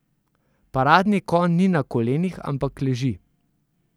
Paradni konj ni na kolenih, ampak leži.